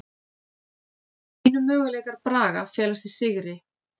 Einu möguleikar Braga felast í sigri